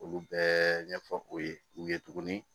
Olu bɛɛ ɲɛfɔ o ye u ye tuguni